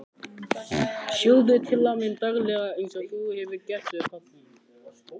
Geturðu ekki lesið eitthvað fyrir mig, landpóstur, sagði afi.